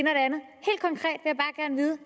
andet